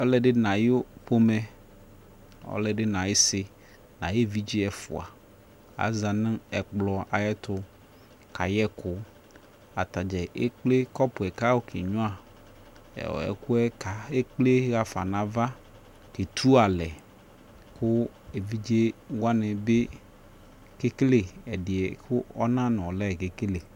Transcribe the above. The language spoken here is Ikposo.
Ɔlɔdi nʋ ayu pomɛ, ɔlɔdi n'ayisi nʋ ayu evidze ɛfua aza nʋ ɛkplɔ ayɛtʋ kayɛ ɛkʋ Atadza ekple kɔpʋ yɛ akʋ ayɔkenyʋa ɛkʋɛ kʋ ekple yɔhafa n'ava ketunalɛ kʋ evidze wani bi kekele ɛdi yɛ kʋ ɔnan nʋ ɔla kekele